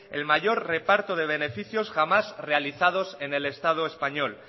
el mayor reparto de beneficios jamás realizados en el estado español